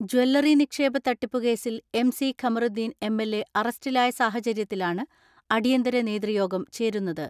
Jewellery നിക്ഷേപത്തട്ടിപ്പുകേസിൽ M C Kamaruddin M L A അറസ്റ്റിലായ സാഹചര്യത്തിലാണ് അടിയന്തര നേതൃയോഗം ചേരുന്നത്.